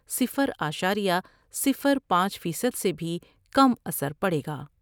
صفر اعشاریہ صفر پانچ فیصد سے بھی کم اثر پڑے گا ۔